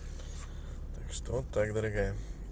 что так дорогая